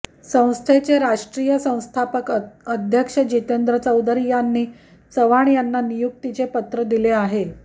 संस्थेचे राष्ट्रीय संस्थापक अध्यक्ष जितेंद्र चौधरी यांनी चव्हाण यांना नियुक्तीचे पत्र दिले आहे